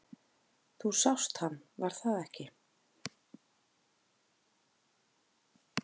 Þú sást hann, var það ekki?